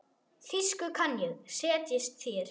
Þýsku kann ég, setjist þér.